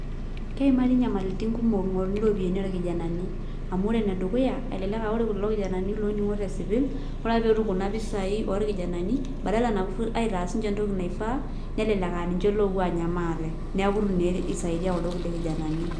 Keimari nyamalitin kumok ing'oruni ropiyiani orkijanani. Amu ore enedukuya, elelek ah ore kulo kijanani loning'o tesipil, ore ake petum kuna pisai orkijanani, badala napuo aitas sinche entoki naifaa, nelelek aninche opuo anya maate. Neeku itu naa isaidia kuldo kulie kijanani.